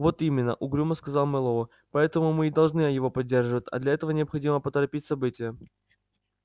вот именно угрюмо сказал мэллоу поэтому мы и должны его поддерживать а для этого необходимо поторопить события